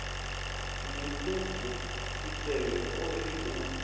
muṱuku tshisevhe o ri u